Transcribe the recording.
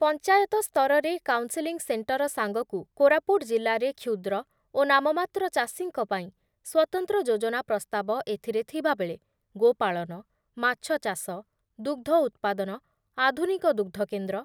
ପଞ୍ଚାୟତ ସ୍ତରରେ counselling centre ସାଙ୍ଗକୁ କୋରାପୁଟ ଜିଲ୍ଲାରେ କ୍ଷୁଦ୍ର ଓ ନାମମାତ୍ର ଚାଷୀଙ୍କ ପାଇଁ ସ୍ବତନ୍ତ୍ର ଯୋଜନା ପ୍ରସ୍ତାବ ଏଥିରେ ଥିବାବେଳେ ଗୋପାଳନ, ମାଛଚାଷ, ଦୁଗ୍ଧ ଉତ୍ପାଦନ, ଆଧୁନିକ ଦୁଗ୍ଧକେନ୍ଦ୍ର